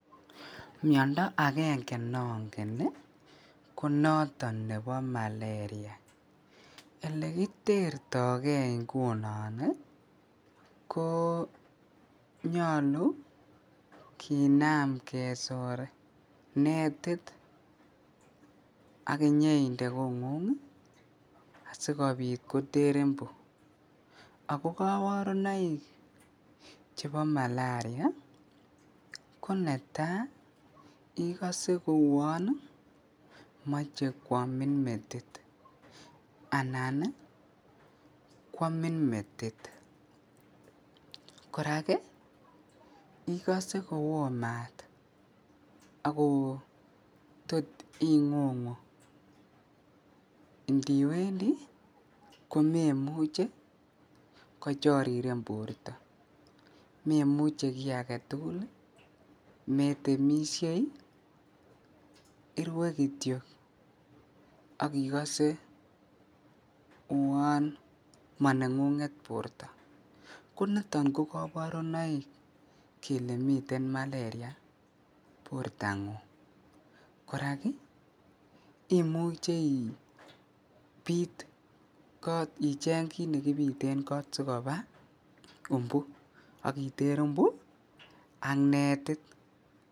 Miondo akenge nongen ko noton nebo malaria, elekitertoke ingunon ko nyolu kinem kesor netit ak inyeinde kongung asikobit koter umbu, ak ko koborunoik chebo malaria ko netaa ikose kouon moche kwomin metit anan kwamin metit, korak ikose kowoo maat akotot ingungu indiwendi komemuche kochoriren borto memuche kii aketukul, metemishei irwee kitiok ak ikose uon monengunget borto, koniton ko koborunoik kelee miten malaria bortangung, korak imuche ibiit kot icheng kiit nekibiten kot asikoba umbu ak iter umbu ak netit.